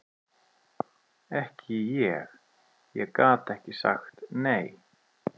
Ekki ég, ég gat ekki sagt nei.